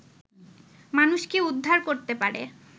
মানুষকে উদ্ধার করতে পারে